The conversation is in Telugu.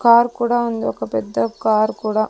కార్ కూడా ఉంది ఒక పెద్ద కార్ కూడ.